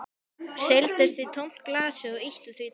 Seildist í tómt glasið og ýtti því til hliðar.